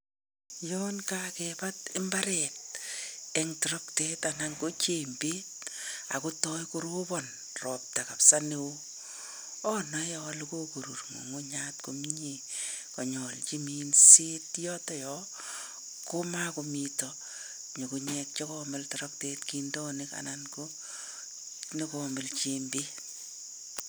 Yaan kakibaat mbaret eng toroktet anan kojembet akotooi korobon ropta kabsa neoo. Anae alee kokorur ng'ung'uchat komiee kanyalji minset. Yotoyoo komagomitei nyugunyek che komil toroktet kindonik anan negomil jembet.